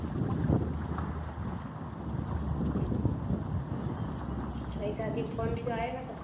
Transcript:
ફઈ કાકી નો phone બીજો આવ્યો નતો